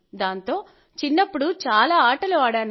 దాంతో చిన్నప్పుడు చాలా ఆటలు ఆడాను